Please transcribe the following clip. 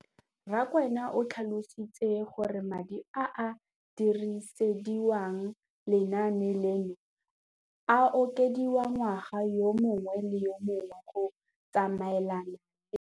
Rakwena o tlhalositse gore madi a a dirisediwang lenaane leno a okediwa ngwaga yo mongwe le yo mongwe go tsamaelana le.